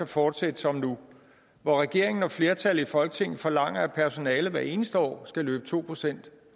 fortsætte som nu hvor regeringen og flertallet i folketinget forlanger at personalet hvert eneste år skal løbe to procent